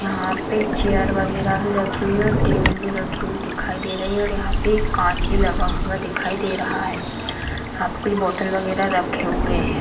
यहाँ पे चेयर वगैरा भी रखी हुई है और टेबल भी रखी हुई दिखाई दे रही है और यहाँ पे कांच भी लगा हुआ दिखाई दे रहा है | यहाँ पे कुछ बोटल वगैरा रखे हुए हैं |